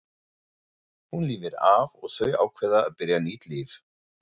Hún lifir af og þau ákveða að byrja nýtt líf.